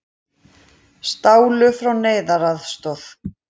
Stálu frá neyðaraðstoð